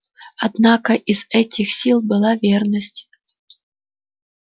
однако из этих сил была верность